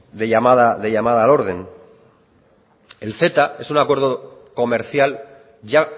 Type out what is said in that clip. de llamada al orden el ceta es un acuerdo comercial ya